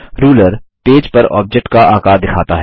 ruler page पर object का आकार दिखाता है